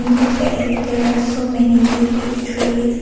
In the back there are so many big big trees.